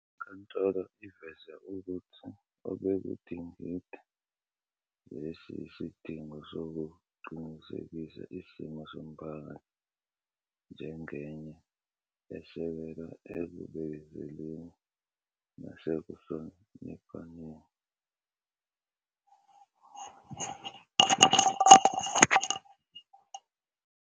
INkantolo iveze ukuthi obekudingida lesi yisidingo sokuqinisekisa isimo somphakathi njengenye esekelwe ekubekezeleni nasekuhloniphaneni.